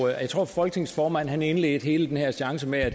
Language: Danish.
jeg tror folketingets formand indledte hele den her seance med at